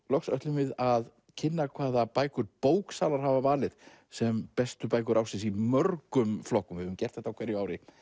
loks ætlum við að kynna hvaða bækur bóksalar hafa valið sem bestu bækur ársins í mörgum flokkum við höfum gert þetta á hverju ári